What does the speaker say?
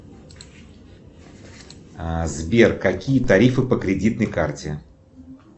сбер какие тарифы по кредитной карте